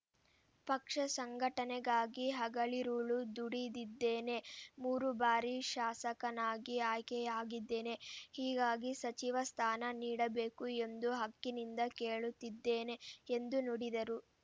ಪಕ್ಷ ಸಂಘಟನೆಗಾಗಿ ಹಗಲಿರುಳು ದುಡಿದಿದ್ದೇನೆ ಮೂರು ಬಾರಿ ಶಾಸಕನಾಗಿ ಆಯ್ಕೆಯಾಗಿದ್ದೇನೆ ಹೀಗಾಗಿ ಸಚಿವ ಸ್ಥಾನ ನೀಡಬೇಕು ಎಂದು ಹಕ್ಕಿನಿಂದ ಕೇಳುತ್ತಿದ್ದೇನೆ ಎಂದು ನುಡಿದರು